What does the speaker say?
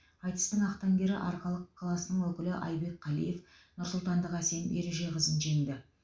айтыстың ақтаңгері арқалық қаласының өкілі айбек қалиев нұрсұлтандық әсем ережеқызын жеңді